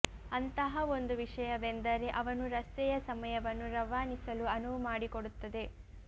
ಅಂತಹ ಒಂದು ವಿಷಯವೆಂದರೆ ಅವನು ರಸ್ತೆಯ ಸಮಯವನ್ನು ರವಾನಿಸಲು ಅನುವು ಮಾಡಿಕೊಡುತ್ತದೆ